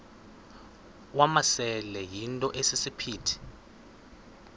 wamasele yinto esisiphithi